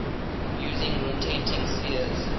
using rotating spheres